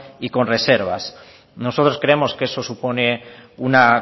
y con reservas nosotros creemos que eso supone una